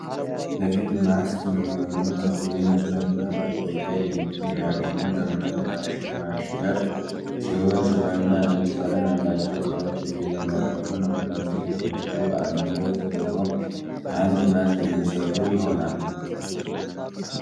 ለፊት ማስክ የሚሆነውን የንጽህና መጠበቂያ የምረቱ የሚገኘው ዘመናዊ ማሽረት ሲሆኑ ሰማያዊና ነጭ ቀለም ያላቸው ዕቃዎች እየተመረቱ ነው። እነዚህ ሁለቱ በአንድ ላይ የተደርበው አንድ ማስክ የሚሰሩ ይሆናል።